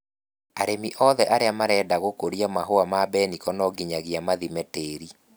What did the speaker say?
Arĩmi othe arĩa mareda gũkũria Mahũa ma mbeniko nonginyagia mathime tĩri.